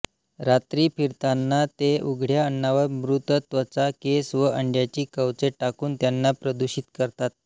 रात्री फिरताना ते उघड्या अन्नावर मृत त्वचा केस व अंड्याची कवचे टाकून त्यांना प्रदूषित करतात